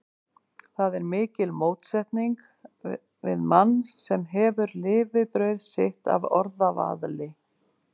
Það er mikil mótsetning við mann, sem hefur lifibrauð sitt af orðavaðli.